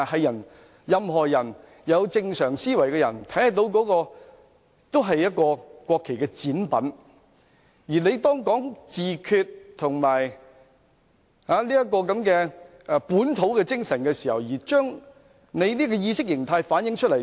任何有正常思維的人也可以看出那是國旗的展品，而當他在提出自決和本土精神的同時把國旗倒轉，便將這種意識形態反映出來。